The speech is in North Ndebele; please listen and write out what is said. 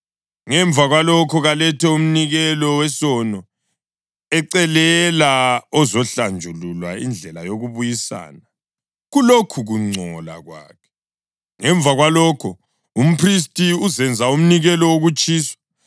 Ngemva kwalokho, kalethe umnikelo wesono ecelela ozahlanjululwa indlela yokubuyisana kulokhu kungcola kwakhe. Ngemva kwalokho, umphristi uzenza umnikelo wokutshiswa,